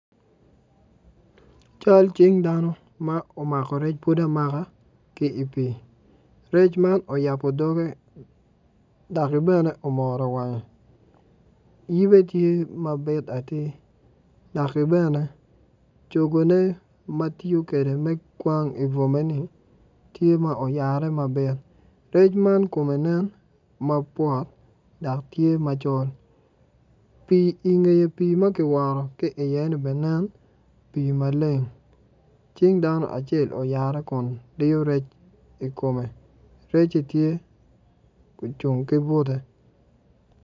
Cal cing dano ma omako rec pud amaka ki i pii rec man oyabo dogge daki bene omoro wange yibe ti mabit atir lakke bene cogone ma tiyo kwede me kwang i bwome-ni tye ma oyare ma bit rec man komme nen ma bwot dok tye macol pii ingeye pii ma ki woto ki iye-ni bene nen pii maleng cing dano cael oyare kun diyo rec i komme recci tye ocung ki bute